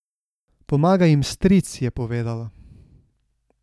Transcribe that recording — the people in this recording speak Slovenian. Pomaga jim stric, je povedala.